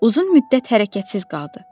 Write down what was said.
Uzun müddət hərəkətsiz qaldı.